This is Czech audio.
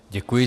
Děkuji.